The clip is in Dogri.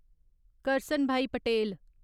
करसनभाई पटेल